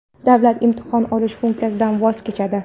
davlat imtihon olish funksiyasidan voz kechadi.